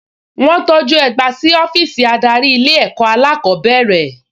Wọ́n tọjú ẹgba sí ọ́fíìsì adarí ilé ẹ̀kọ́ alákọ̀ọ́bẹ̀rẹ̀